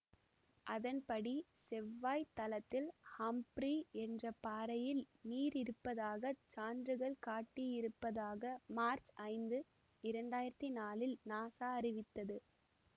அதன் படி செவ்வாய்த் தளத்தில் ஹம்ப்ரீ என்ற பாறையில் நீர் இருப்பதாக சான்றுகள் காட்டியிருப்பதாக மார்ச் ஐந்து இரண்டாயிரத்தி நாழில் நாசா அறிவித்தது